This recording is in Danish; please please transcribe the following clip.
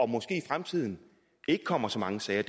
måske i fremtiden ikke kommer så mange sager